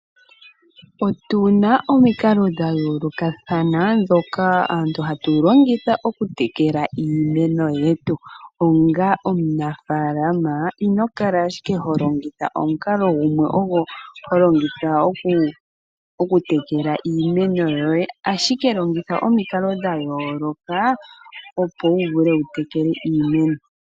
Otuna omikalo dhayolokathana ndhono hatulongitha okutekela iimeno. Onga omunafalama inokala owala holongitha omukalo gumwe ogo holongitha okutekela iimeno yoye, ashike longitha omikalo dhayoloka opo wu vule wutekele iimeno.